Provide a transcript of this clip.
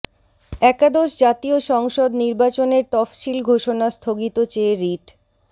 একাদশ জাতীয় সংসদ নির্বাচনের তফসিল ঘোষণা স্থগিত চেয়ে রিট